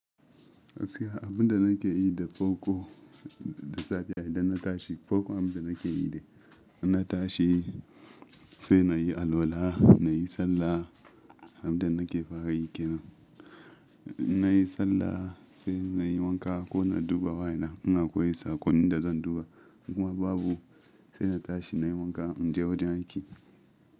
Gaskiya abin da nake yi da farko da safiya idan na tashi, farko abin da nake yi ne in na tashi sai na yi alwala, na yi sallah abin da nake fara yi ke nan. Na yi sallah sai na yi wanka ko na duba wayana, in akwai sakon da zan duba in kuma babu sai na tashi na yi wanka in je wajen aiki.